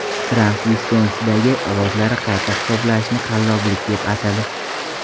Tramp Viskonsindagi ovozlarni qayta hisoblashni qalloblik deb atadi.